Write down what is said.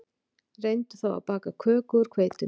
Reyndu þá að baka köku úr hveitinu